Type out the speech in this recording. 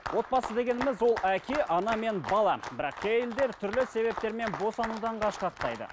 отбасы дегеніміз ол әке ана мен бала бірақ кей әйелдер түрлі себептермен босанудан қашқақтайды